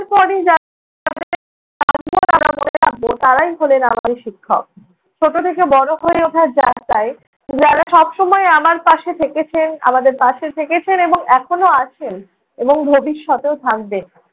তারপরেই যাদের মনে রাখবো, তাঁরাই হলেন আমাদের শিক্ষক। ছোটো থেকে বড় হয়ে ওঠার যাত্রায় যারা সবসময় আমার পাশে থেকেছেন। আমাদের পাশে থেকেছেন এবং এখনও আছেন এবং ভবিষ্যতেও থাকবেন।